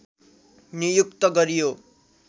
नियुक्त गरियो